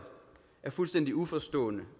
er fuldstændig uforstående